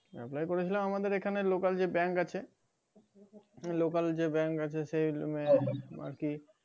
apply করেছিলাম আমাদের এখানে যে local bank আছে local যে bank আছে সেখানে আর কি